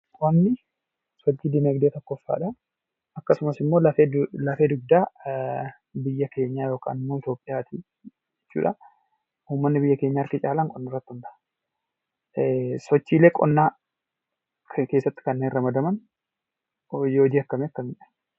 Qonni sochii dinagdee tokkoffaadha. Akkasumas immoo lafee dugdaa biyya keenyaa yookiin immoo Itoophiyaati jechuudha. Uummatni biyya keenyaa harki caalaan qonna irratti hundaa'a. Sochiilee qonnaa keessatti kanneen ramadaman hojii akkam akkamiidha?